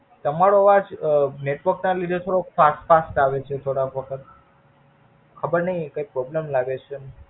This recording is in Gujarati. તમારો અવાજ અઅ Network ના લીધે થોડોક ફાંસ ફાંસ આવે છે, થોડોક, ખબર નઈ કૈક પ્રોબ્લમ લાગે છે.